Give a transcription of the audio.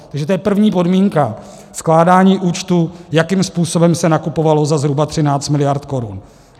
Takže to je první podmínka, skládání účtů, jakým způsobem se nakupovalo za zhruba 13 mld. korun.